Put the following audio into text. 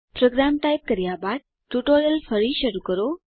programme type કર્યા બાદ tutorial ફરી શરૂ કરો